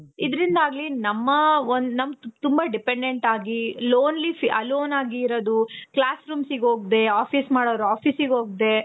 ಇದ್ರಿಂದಾಗ್ಲಿ ನಮ್ಮ ತುಂಬಾ dependent ಆಗಿ lonely alone ಆಗಿ ಇರೋದು. classrooms ಗೆ ಹೋಗ್ದೆ office ಗೆ ಹೋಗೋರು office ಗೆ ಹೋಗ್ದೆ